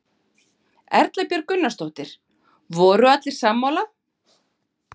Erla Björg Gunnarsdóttir: Voru allir sammála?